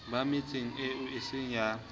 ba metseng eo eseng ya